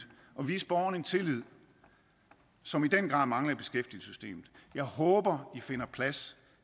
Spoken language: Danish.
og vise borgerne en tillid som i den grad mangler i beskæftigelsessystemet jeg håber i finder plads